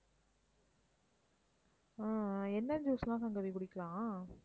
ஆஹ் ஆஹ் என்ன juice லாம் சங்கவி குடிக்கலாம்?